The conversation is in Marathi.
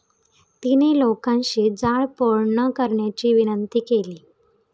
तिने लोकांशी जाळपोळ न करण्याची विनंती केली.